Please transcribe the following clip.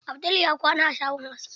Abdul ya kwana a shagon aski.